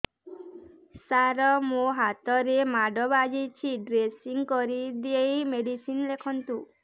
ସାର ମୋ ହାତରେ ମାଡ଼ ବାଜିଛି ଡ୍ରେସିଂ କରିଦେଇ ମେଡିସିନ ଲେଖନ୍ତୁ